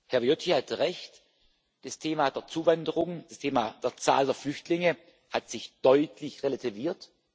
Herr Viotti hatte recht Das Thema der Zuwanderung, das Thema der Zahl der Flüchtlinge hat sich deutlich relativiert.